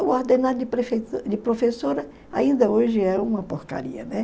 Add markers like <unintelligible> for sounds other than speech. O ordenado de <unintelligible> de professora ainda hoje é uma porcaria, né?